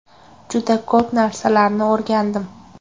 Juda ko‘p narsalarni o‘rgandim.